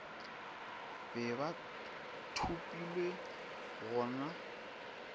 be ba thopilwe go na